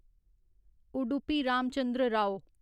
Udupi Ramachandra Rao